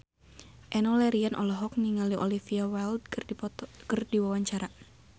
Enno Lerian olohok ningali Olivia Wilde keur diwawancara